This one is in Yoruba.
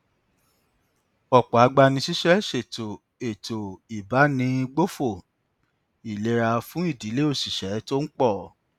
ọpọ agbanisíṣẹ ṣètò ètò ìbánigbófò ìlera fún ìdílé òṣìṣẹ tó ń pọ